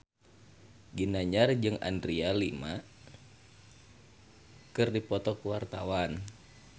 Ginanjar jeung Adriana Lima keur dipoto ku wartawan